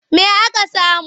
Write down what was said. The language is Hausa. Me aka samu?